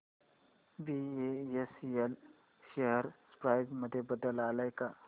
BSL share price मध्ये बदल आलाय का